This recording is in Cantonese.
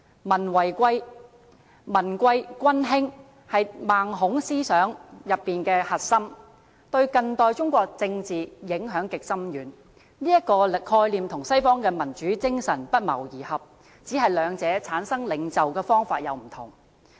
民貴君輕是孟孔思想的核心，對近代中國政治影響極深遠，這個概念跟西方的民主精神不謀而合，只是兩者產生領袖的方法有所不同。